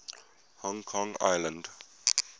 hong kong island